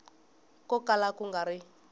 ko kala ku nga ri